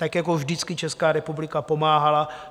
Tak jako vždycky Česká republika pomáhala.